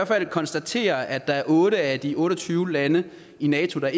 fald konstatere at der er otte af de otte og tyve lande i nato der